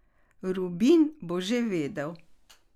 Rubin bo že vedel.